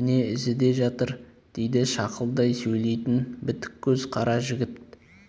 міне ізі де жатыр дейді шақылдай сөйлейтін бітік көз қара жігіт